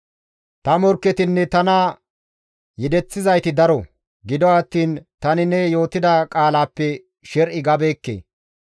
Ta morkketinne tana yedeththizayti daro; gido attiin tani ne yootida qaalaappe sher7i gabeekke.